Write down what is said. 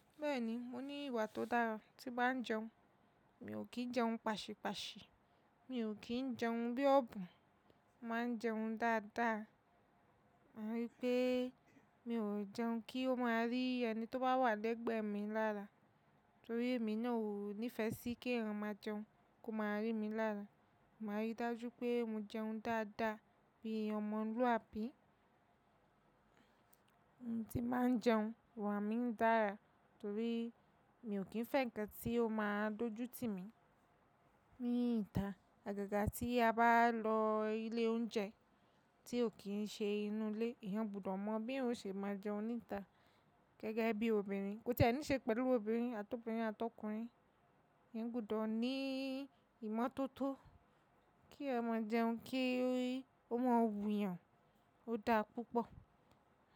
Bẹ́ẹ̀ni, mo ní ìwà tó dára tí n báa ń jẹun. Mi ò kí ń jẹun pàṣípàṣì, mi ò kí ń jẹun bí ọ̀bùn, mo màá ń jẹun dáadáa. Máa rí pé mi ò jẹun kí ó máa rí ẹni tó bá wà lẹ́gbẹ̀ẹ́ mi lára, torí èmi náà ò nífẹsí kí ẹyan máa jẹun kó máa rí mi lára. Màá rí dájú pé mo jẹun dáadáa bí omọ̀luàbí. Ohun tí n báa ń jẹun iwà mí dára torí mi ò kí ń fẹ́ ǹkan tí ó máa dojú ti mi. Ní ìta, àgàgà tí a bá lọ ilé oúnjẹ tí ò kí ń ṣe inú ilé, eyan gbudọ̀ mọ bí eyan o ṣe máa jẹun ní ìta gẹ́gẹ́ bí obìnrin. Kò ti e ni ṣe pẹ̀lú obìnrin àtọ̀bìnrin àtọkùnrin. Eyan gbudọ̀ ní ìmọ́tótó kí ẹyan má jẹun kíi ọ mọ wú yàn ó dáa púpọ̀.